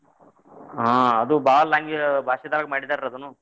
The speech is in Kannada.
ಹಾ ಅದು ಬಾಳ್ ಲ್ಯಾನ್ ಭಾಷೆದಾಗ ಮಾಡಿದಾರಿ ಅದ್ನ.